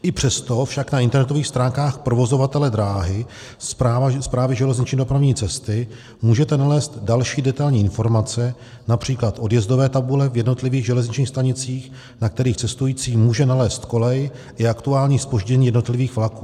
I přesto však na internetových stránkách provozovatele dráhy, Správy železniční dopravní cesty, můžete nalézt další detailní informace, například odjezdové tabule v jednotlivých železničních stanicích, na kterých cestující může nalézt kolej i aktuální zpoždění jednotlivých vlaků.